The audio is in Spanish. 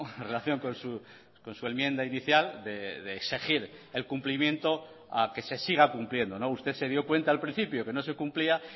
en relación con su enmienda inicial de exigir el cumplimiento a que se siga cumpliendo usted se dio cuenta al principio que no se cumplía